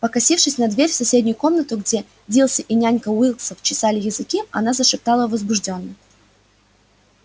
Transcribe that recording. покосившись на дверь в соседнюю комнату где дилси и нянька уилксов чесали языки она зашептала возбуждённо